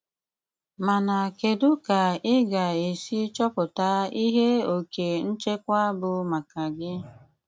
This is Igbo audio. Máná kédú ká í gá-ésí chọ́pụtá íhé óké ńchékwá bụ máká gí?